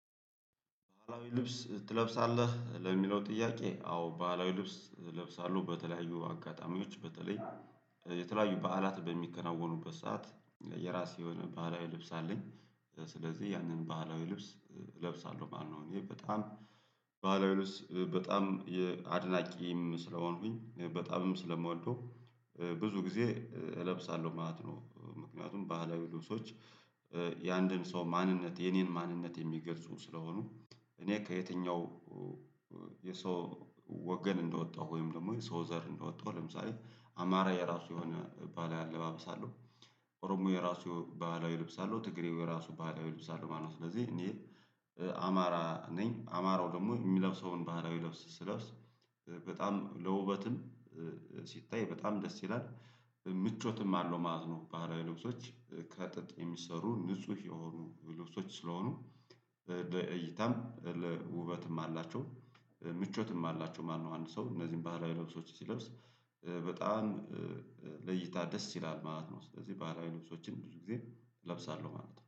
ባህላዊ ልብስ ትለብሳለህ ለሚለው ጥያቄ? አዎ ባህላዊ ልብስ እለብሳለሁ በተለያዩ አጋጣሚዎች በተለይ የተለያዩ በዓላት በሚከናወኑበት ሰዓት የራሴ የሆነ ባህላዊ ልብስ አለኝ ስለዚህ ያንን ባህላዊ ልብስ እለብሳለሁ ማለት ነው። እኔ በጣም ባህላዊ ልብስ በጣም አድናቂም ስለሆንኩኝ በጣምም ስለምወደው ብዙ ጊዜ እለብሳለሁ ማለት ነው። ምክንያቱም ባህላዊ ልብሶች የአንድን ሰው ማንነት የኔን ማንነት የሚገልጹ ስለሆኑ። እኔ ከየትኛው የሰው ወገን እንደወጣሁ ወይም ደግሞ የሰው ዘር እንደወጣሁ ለምሳሌ አማራ የራሱ የሆነ ባህላዊ አለባበስ አለው ኦሮሞ የራሱ ባህላዊ ልብስ አለው ትግሬው የራሱ ባህላዊ ልብስ አለው ማለት ነው። ስለዚህ እኔ አማራ ነኝ አማራው ደግሞ የሚለብሰውን ባህላዊ ልብስ ስለብስ በጣም ለውበትም ሲታይ በጣም ደስ ይላል ምቾትም አለው ማለት ነው። ባህላዊ ልብሶች ከጥጥ የሚሰሩ ንጹህ የሆኑ ልብሶች ስለሆኑ ለእይታም ውበትም አላቸው ምቾትም አላቸው ማለት ነው። አንድ ሰው እነዚህን ባህላዊ ልብሶችን ሲለብስ በጣም ለእይታ ደስ ይላል ማለት ነው ስለዚህ ባህላዊ ልብሶችን ብዙ ጊዜ እለብሳለሁ ማለት ነው